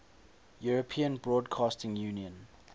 european broadcasting union